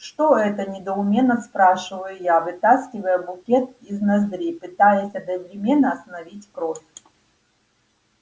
что это недоуменно спрашиваю я вытаскивая букет из ноздри пытаясь одновременно остановить кровь